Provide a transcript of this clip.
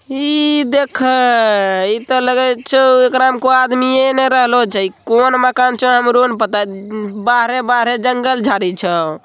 इ देख अ ऐसा लग ला है च रा न को अदमीयै न रहलो जई कौन मकानों च हमरो न पता अ चाय बारे-बारे जंगल जाली छ।